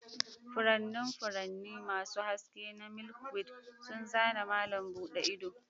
Furannin furanni masu haske na milkweed sun zana malam buɗe ido.